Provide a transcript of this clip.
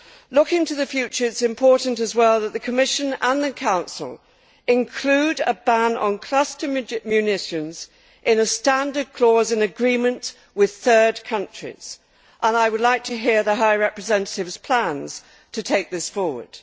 Looking to the future, it is important as well that the Commission and the Council include a ban on cluster munitions in a standard clause in agreements with third countries. I would like to hear the High Representative's plans to take this forward.